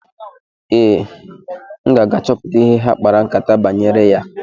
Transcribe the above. Ee, m ga-aga chọpụta ihe ha kpara nkátá banyere ya.